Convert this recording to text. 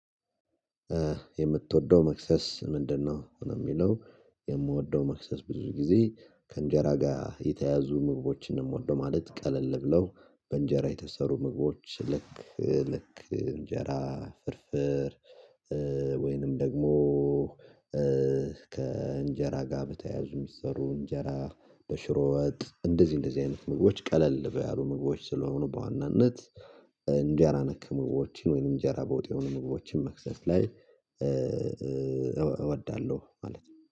የምትወደው መክሰስ ምንድነው? ሆኖ የሚለው የምወደው መክሰስ ብዙ ጊዜ ከእንጀራ ጋር የተያዙ ምግቦችን እንወደው ማለት ቀለል ብለው በእንጀራ የተሰሩ ምግቦች ልክ ልክ እንጀራ ፍርፍር። ወይንም ደግሞ ከእንጀራ ጋር በተያያዙ የሚሰሩ እንጀራ በሽሮወጥ እንደዚህ እንደዚህ አይነት ምግቦች ቀለል በያሉ ምግቦች ስለሆኑ በዋናነት እንዲህ አላነከም ምግቦችን ወይም እንጀራ በውጤው ምግቦችን መክሰስ ላይ። እወዳለሁ ማለት ነው